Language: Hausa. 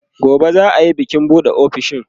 gobe za'a Yi bikin buɗe ofishin